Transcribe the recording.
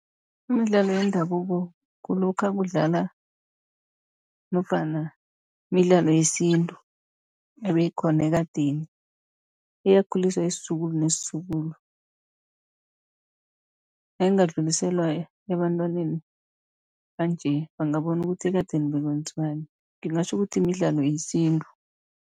Imidlalo yendabuko kulokha kudlala nofana midlalo yesintu ebeyikhona ekadeni, eyakhulisa isizukulu nesizukulu. Nayingadluliselwa ebantwaneni banje, bangabona ukuthi ekadeni bekwenziwani. Ngingatjho ukuthi midlalo yesintu.